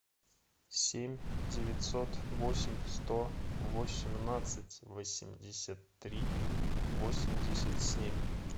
семь девятьсот восемь сто восемнадцать восемьдесят три восемьдесят семь